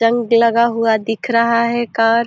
जंग लगा हुआ दिख रहा है कार ।